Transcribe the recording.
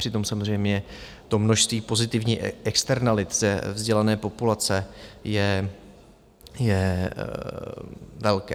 Přitom samozřejmě to množství pozitivních externalit ze vzdělané populace je velké.